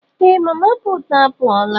Ee! Mama puutu a pụọla.